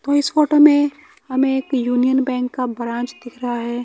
तो इस फोटो में हमें एक यूनियन बैंक का ब्रांच दिख रहा है।